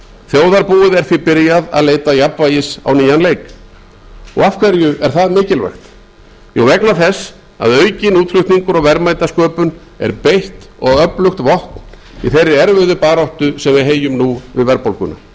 þjóðarbúið er því byrjað að leita jafnvægis á nýjan leik og af hverju er þetta mikilvægt jú vegna þess að aukinn útflutningur og verðmætasköpun er beitt og öflugt vopn í þeirri erfiðu baráttu sem við heyjum nú við verðbólguna